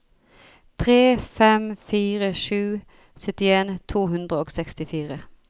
tre fem fire sju syttien to hundre og sekstifire